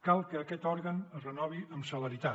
cal que aquest òrgan es renovi amb celeritat